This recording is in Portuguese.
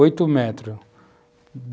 Oito metros.